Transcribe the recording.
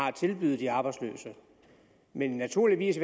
at tilbyde de arbejdsløse men naturligvis